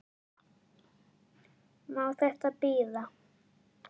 Má þetta bíða?